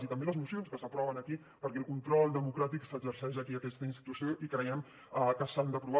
i també les mocions que s’aproven aquí perquè el control democràtic s’exerceix aquí en aquesta institució i creiem que s’han d’aprovar